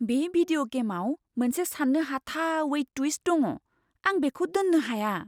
बे भिदिय' गेमआव मोनसे सान्नो हाथावै टुइस्ट दङ। आं बेखौ दोन्नो हाया!